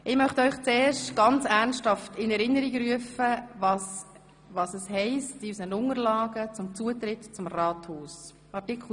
Zuerst möchte ich Ihnen ernsthaft in Erinnerung rufen, was in unseren Unterlagen zum Zutritt zum Rathaus steht.